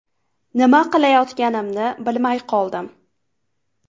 Nima qilayotganimni bilmay qoldim.